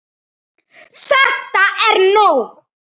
ÞETTA ER NÓG!